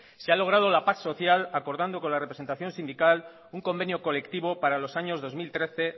se ha logrado la paz social acordando con la representación sindical un convenio colectivo para los años dos mil trece